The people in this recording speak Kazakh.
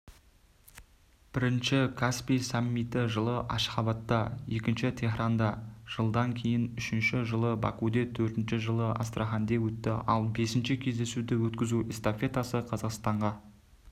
бірінші каспий саммиті жылы ашхабадта екіншісі теһранда жылдан кейін үшінші жылы бакуде төртінші жылы астраханьде өтті ал бесінші кездесуді өткізуэстафетасы қазақстанға